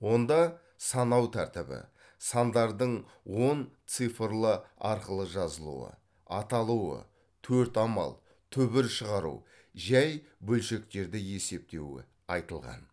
онда санау тәртібі сандардың он цифрлы арқылы жазылуы аталуы төрт амал түбір шығару жәй бөлшектерді есептеуі айтылған